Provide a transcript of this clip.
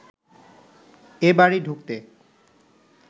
এ বাড়ি ঢুকতে